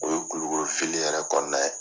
O ye kulukoro yɛrɛ kɔnɔna ye.